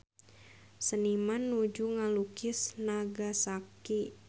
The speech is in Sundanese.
Seniman nuju ngalukis Nagasaki